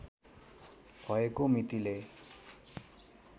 भएको मितिले